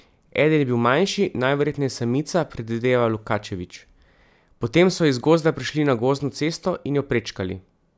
Eden je bil manjši, najverjetneje samica, predvideva Lukačević: "Potem so iz gozda prišli na gozdno cesto in jo prečkali.